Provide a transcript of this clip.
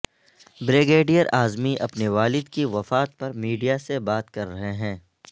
brigadier Azmi اپنے والد کی وفات پر میڈیا سے بات کر رہے ہیں